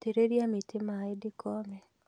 Itĩrĩria mĩtĩ maĩ ndĩkome